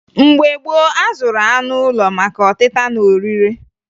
Mgbe gboo, a zụrụ anụ ụlọ maka ọtịta na orire